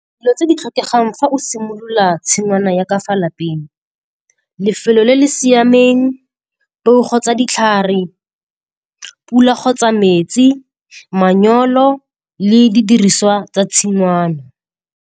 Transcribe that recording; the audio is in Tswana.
Dilo tse di tlhokegang fa o simolola tshingwana ya ka fa lapeng, lefelo le le siameng, peo kgotsa ditlhare, pula kgotsa metsi, manyolo le di diriswa tsa tshingwana.